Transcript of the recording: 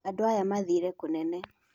Andũ aya mathire kũnene.